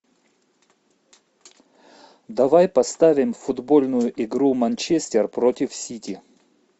давай поставим футбольную игру манчестер против сити